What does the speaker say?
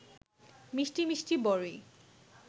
মিষ্টি মিষ্টি বরই